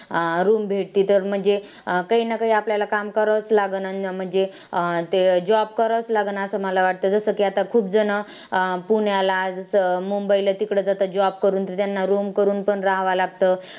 अं room भेटती तर म्हणजे काही ना काही आपल्याला काम करावंच लागंन आणि म्हणजे अं ते job करावंच लागणार असं मला वाटतं जसं की आता खुपजणं अं पुण्याला जसं मुंबईला तिकडं जातात job करून त्यांना room करून पण रहावं लागतं.